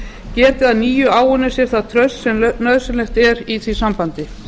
geti að nýju áunnið sér það traust sem nauðsynlegt er í því sambandi